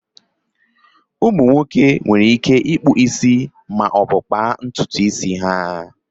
Ụmụ nwoke nwere ike ịkpụ isi maọbụ kpaa ntutu isi ha